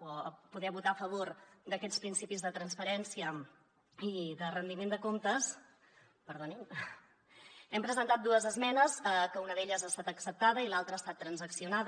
o poder votar a favor d’aquests principis de transparència i de rendiment de comptes hem presentat dues esmenes que una d’elles ha estat acceptada i l’altra ha estat transaccionada